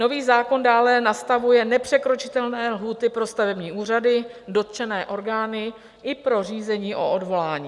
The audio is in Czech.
Nový zákon dále nastavuje nepřekročitelné lhůty pro stavební úřady, dotčené orgány i pro řízení o odvolání.